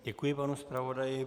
Děkuji panu zpravodaji.